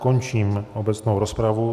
Končím obecnou rozpravu.